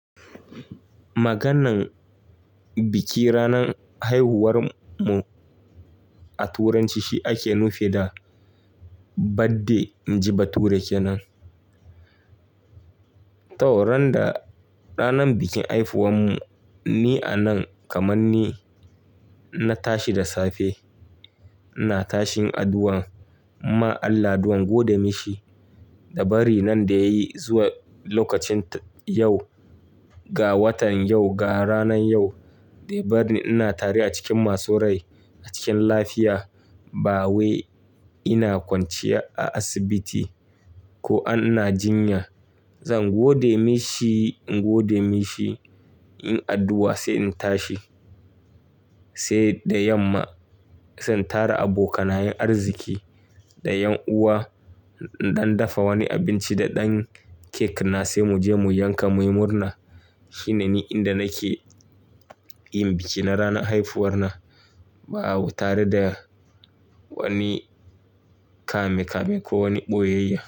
Maganar bikin ranar haihuwar mu a Turanci shi ake nufi da birthday. In ji bature kenan. Ta randa ranar bikin haihuwar mu ni a nan kaman ni na tashi da safe. Na tashin addu'an, inma Allah addu'an na gode mishi da bari na da yayi zuwa lokacin yau, ga watan yau, ga ranan yau. Da ya barni ina tare a cikin masu rai a cikin koshin lafiya ba wai ina kwanciya a asibiti ko ina jinya. Zan gode mishi, inyi addu'a sai in tashi. Sai da yamma zan tara abokanan arziki da ƴan'uwa, in ɗan dafa wani abinci da ɗan cake na sai mu je mu yanka mu yi murna. Shi ne ni yanda nake yin biki na ranar haifuwa na. Ba tare da wani kame-kame ko wani ɓoyayya.